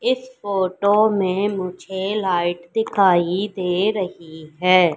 इस फोटो में मुझे लाइट दिखाई दे रही हैं।